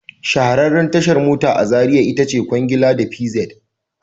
Shahararriyar tashar mota a Zariya ita ce Kwangila da PZed